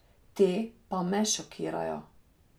Te pa me šokirajo.